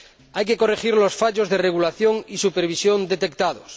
Hay que corregir los fallos de regulación y supervisión detectados.